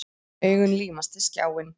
Augun límast við skjáinn.